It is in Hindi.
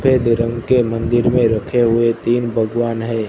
सफेद रंग के मंदिर में रखे हुए तीन भगवान है।